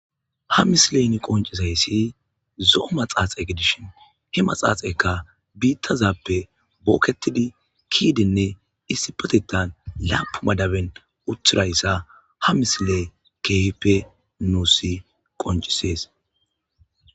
Ha misileyni qoncisayssi zo'o maxaaxe gidishin he maxaaxekka biittazappe bookketidi kiidenne issi patetan laapu madaben uthirayssa ha misile keehipe nuusi qoncisees.